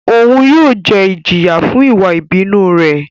Oun yóò jẹ ijiya fun iwa ibinu rẹ